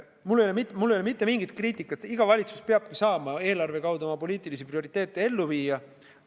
Mul ei ole mitte mingit kriitikat, iga valitsus peabki saama eelarve kaudu oma poliitilisi prioriteete ellu viia.